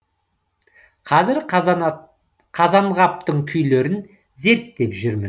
қазір қазанғаптың күйлерін зерттеп жүрмін